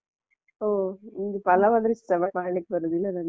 ಹೊ ನಿಮಗೆ ಪಲಾವಂದ್ರೆ ಇಷ್ಟವಾ? ಮಾಡ್ಲಿಕ್ಕೆ ಬರುದಿಲ್ಲ ನಂಗೆ.